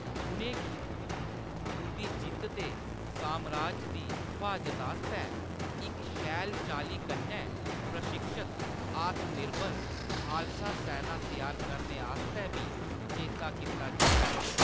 उʼनें गी उंʼदी जित्त ते सामराज दी फ्हाजत आस्तै इक शैल चाल्ली कन्नै प्रशिक्षत, आत्मनिर्भर खालसा सैना त्यार करने आस्तै बी चेता कीता जंदा ऐ।